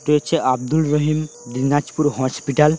তে হচ্ছে আব্দুর রহিম দিনাজপুর হসপিটাল ।